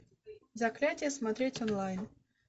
заклятие смотреть онлайн